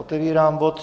Otevírám bod